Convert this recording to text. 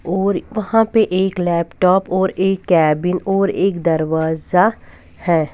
और वहां पे एक लैपटॉप और एक केबिन और एक दरवाजा है।